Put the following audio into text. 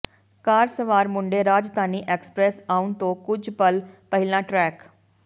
ਕਾਰ ਸਵਾਰ ਮੁੰਡੇ ਰਾਜਧਾਨੀ ਐਕਸਪ੍ਰੈੱਸ ਆਉਣ ਤੋਂ ਕੁਝ ਪਲ ਪਹਿਲਾਂ ਟਰੈਕ